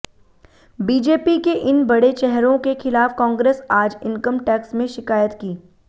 BJP के इन बड़े चेहरों के खिलाफ कांग्रेस आज इनकम टैक्स में शिकायत की